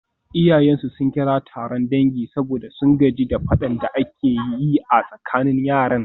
Iyayensu sun kira taron dangi saboda sun gaji da fadan da ake yi a tsakanin yaran.